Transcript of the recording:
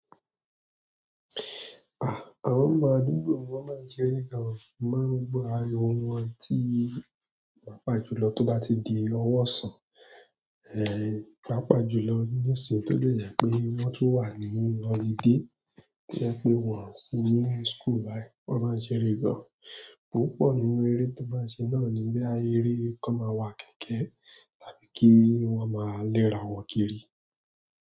Ah! Àwọn ọmọ àdúgbò wọ́n máa ń ṣeré gan, mo máa ń gbọ́ ariwo wọn tí pàápàá jùlọ tó bá ti di owó sàn, eh, pàápàá. Jùlọ nísìnyí tó dé yẹ pé wọ́n tún wà ní holiday, tó yẹ pé wọ́n ò sì ní school báyìí, wọ́n máa ń ṣeré gan, púpọ̀ nínú eré tí wọ́n máa ń ṣe náà ni bóyá eré kan máa wà kẹ̀kẹ́ tàbí kí wọ́n má lérà wọn kiri.